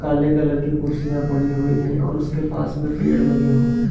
काले कलर की कुर्सियाँ पड़ी हुई हैं और उसके पास में पेड़ लगे हुए हैं।